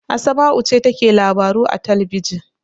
Asma'u ce take labaru a talbijin.